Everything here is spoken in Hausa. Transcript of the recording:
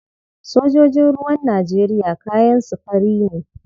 Sojojin ruwan Najeriya kayan su fari ne.